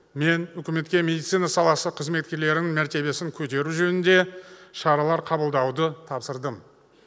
мен үкіметке медицина саласы қызметкерлерінің мәртебесін көтеру жөнінде шаралар қабылдауды тапсырдым